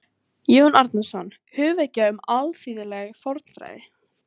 Jón Árnason: Hugvekja um alþýðleg fornfræði